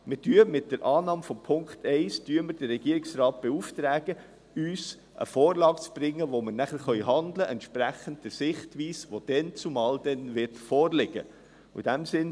– Mit der Annahme von Punkt 1 beauftragen wir den Regierungsrat, uns eine Vorlage zu bringen, damit wir entsprechend der Sichtweise, die zu diesem Zeitpunkt vorliegen wird, handeln können.